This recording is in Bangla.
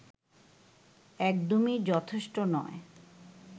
একদমই যথেষ্ট নয়